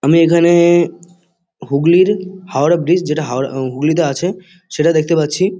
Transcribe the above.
আমি এখা-নে হুগলির হাওড়া ব্রিজ যেটা হাওড়া উ হুগলিতে আছে । সেটা দেখতে পাচ্ছি ।